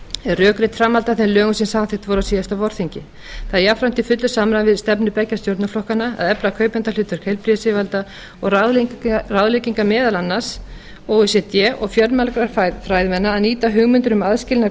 er rökrétt framhald af þeim lögum sem samþykkt voru á síðasta vorþingi það er jafnframt í fullu samræmi við stefnu beggja stjórnarflokkanna að efla kaupandahlutverk heilbrigðisyfirvalda og ráðleggingar meðal annars o e c d og fjölmargra fræðimanna að nýta hugmyndir um aðskilnað